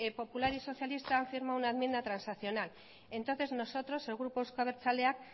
popular y socialista han firmado una enmienda transaccional entonces nosotros el grupo euzko abertzaleak